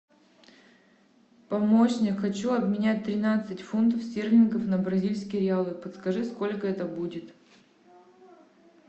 помощник хочу обменять тринадцать фунтов стерлингов на бразильские реалы подскажи сколько это будет